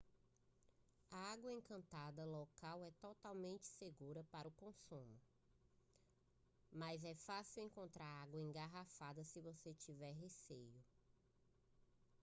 a água encanada local é totalmente segura para o consumo mas é fácil encontrar água engarrafada se você tiver receio